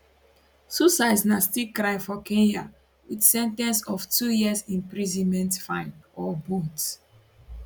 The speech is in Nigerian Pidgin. suicides na still crime for kenya wit sen ten ce of two years imprisonment fine or both